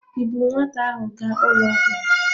Ị buuru nwata ahụ gaa ụlọ ọgwụ?